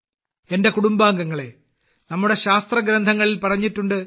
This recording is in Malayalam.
എന്റെ കുടുംബാംഗങ്ങളേ നമ്മുടെ ശാസ്ത്ര ഗ്രന്ഥങ്ങളിൽ പറഞ്ഞിട്ടുണ്ട്